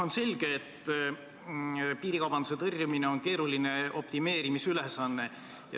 On selge, et piirikaubanduse tõrjumine on keeruline optimeerimisülesanne.